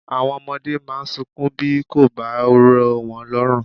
Àwọn ọmọdé máa ń sọkún bí kò bá rọ̀ wọ́n lọ́rùn.